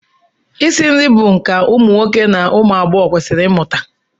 Isi nri bụ nka ma ụmụ nwoke ma ụmụ agbọghọ kwesịrị ịmụta